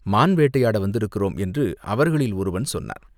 மான் வேட்டையாட வந்திருக்கிறோம் என்று அவர்களில் ஒருவன் சொன்னான்.